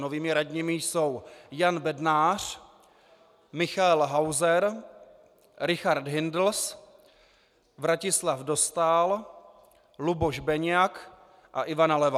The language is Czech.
Novými radními jsou Jan Bednář, Michael Hauser, Richard Hindls, Vratislav Dostál, Luboš Beniak a Ivana Levá.